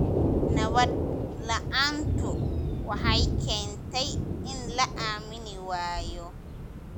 Nabad la�aantu waxay keentay in la aamini waayo.